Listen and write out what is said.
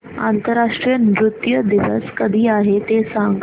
आंतरराष्ट्रीय नृत्य दिवस कधी आहे ते सांग